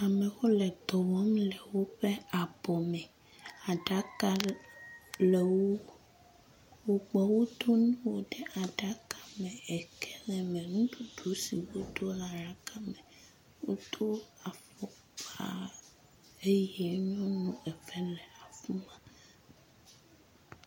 Amewo le dɔ wɔ le woƒe abɔ me. Aɖaka le ŋu. Wokpɔ wotu nu ɖe aɖaka me. Eke le me. Nuɖuɖ si wotrɔ la ɖaka me. Wodo afɔkpa eye nyɔnu eve le afi ma.